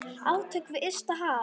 Átök við ysta haf.